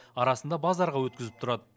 арасында базарға өткізіп тұрады